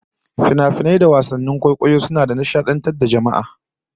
Finafinai da wasannin kwaikwayo suna nishadantar da jama'a